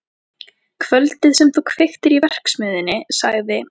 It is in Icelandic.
Kvöldið sem þú kveiktir í verksmiðjunni sagði